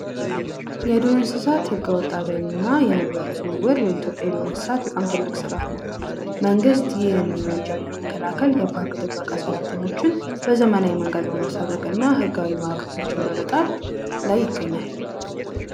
የዱር እንስሳት ህገ ወጥ አደን እና የህብረተሰቡ እንሰትን መግደል የኢትዮጵያ ትልቁ ስጋት ነው መንግት ይህንን ወንጀል ለመከላከል የፓርክ ጥበቃ የሠራተኞችን በዘመናዊ መንገድ በማስታጠቅና ህጋዊ ማዕቀቦችን በመጣል ላይ ይገኛል።